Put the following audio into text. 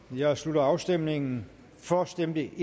jeg slutter afstemningen for stemte